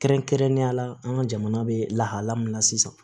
Kɛrɛnkɛrɛnnenya la an ka jamana bɛ lahalaya min na sisan